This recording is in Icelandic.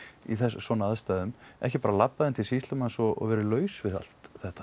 í svona aðstæðum ekki bara labbað inn til sýslumannsins og verið laus við allt þetta